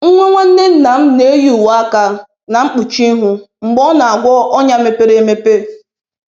Nwa nwanne nna m na-eyi uwe aka na mkpuchi ihu mgbe ọ na-agwọ ọnya mepere emepe.